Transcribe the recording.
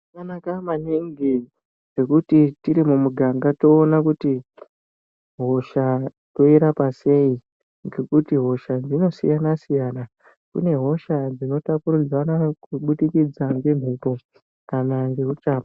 Zvakanaka maningi ngokuti tiri mumuganga toona kuti hosha toirapa sei ngokuti hosha dzinosiyana siyana kune dzimwe hosha dzinotapurirwana kuburikidza ngemphepo kana ngeuchapa.